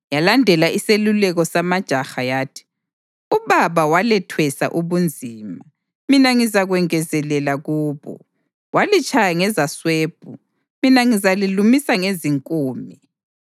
yalandela iseluleko samajaha yathi, “Ubaba walethwesa ubunzima, mina ngizakwengezelela kubo. Walitshaya ngezaswebhu, mina ngizalilumisa ngezinkume.”